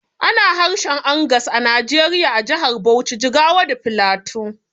Ana harshen Angas a Najeriya a jahar Bauchi, Jigawa da Filato